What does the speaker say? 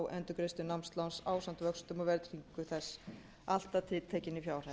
endurgreiðslu námsláns ásamt vöxtum og verðtryggingu þess allt að tiltekinni fjárhæð